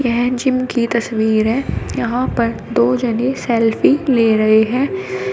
यह जिम की तस्वीर है यहां पर दो जनी सेल्फ़ी ले रहे हैं।